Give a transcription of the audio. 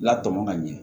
La tɔmɔ ka ɲɛ